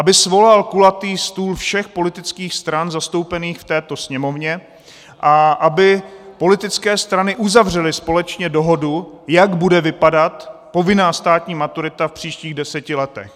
Aby svolal kulatý stůl všech politických stran zastoupených v této Sněmovně a aby politické strany uzavřely společně dohodu, jak bude vypadat povinná státní maturita v příštích deseti letech.